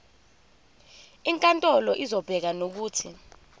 inkantolo izobeka nokuthi